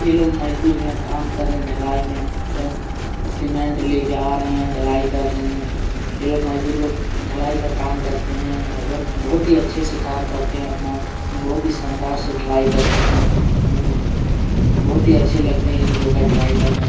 ये लोग मजदूर है यहाँ काम कर रहे है ढलाई में एवं सीमेंट लेकर आ रहे है या ढलाई कर रहे है ये लोग मजदूर लोग ढलाई का काम करते है एवं बहुत ही अच्छे से काम करते है अपना बहुत ही शानदार से ढलाई करते है बहुत ही अच्छे लगते है इन लोग का ढलाई करना।